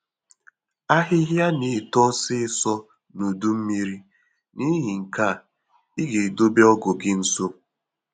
Ahịhịa na-eto ọsịịsọ na udu mmiri, n'ihi nke a ị ga-edobe ọgụ gị nso